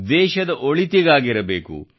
ದೇಶದ ಒಳಿತಿಗಾಗಿರಬೇಕು